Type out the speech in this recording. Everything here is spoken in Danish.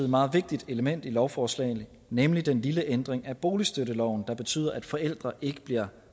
meget vigtigt element i lovforslagene nemlig den lille ændring af boligstøtteloven der betyder at forældre ikke bliver